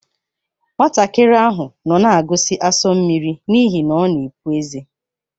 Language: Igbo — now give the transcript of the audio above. Nwatakịrị ahụ nọ na-agọzi asu mmiri n'ihi na ọ na-epụ ezé.